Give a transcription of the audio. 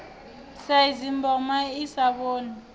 saizwi mboma i sa vhoni